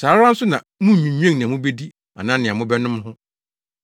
Saa ara nso na munnnwinnwen nea mubedi anaa nea mobɛnom ho.